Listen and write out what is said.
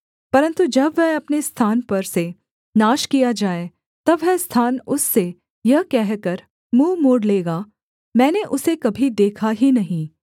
परन्तु जब वह अपने स्थान पर से नाश किया जाए तब वह स्थान उससे यह कहकर मुँह मोड़ लेगा मैंने उसे कभी देखा ही नहीं